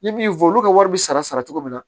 N ye min fɔ olu ka wari bɛ sara cogo min na